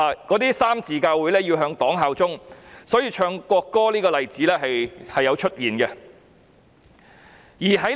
那些三自教會要向黨效忠，所以在宗教儀式上奏唱國歌的例子是有的。